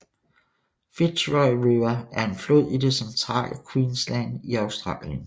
Fitzroy River er en flod i det centrale Queensland i Australien